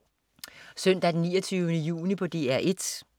Søndag den 29. juni - DR 1: